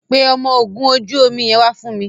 pé ọmọ ògún ojú omí yén wá nísìsiyìí.